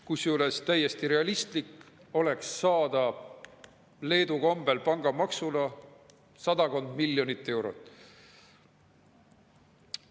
Kusjuures täiesti realistlik oleks saada Leedu kombel pangamaksuna sadakond miljonit eurot.